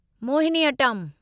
Mohiniyattam